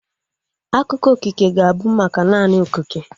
Akụkọ okike ga-abụ maka naanị okike